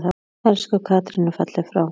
Elsku Katrín er fallin frá.